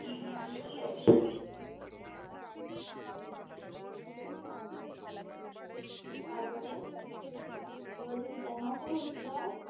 তারপরে এবছর plan আছে ঘুরতে যাওয়ার?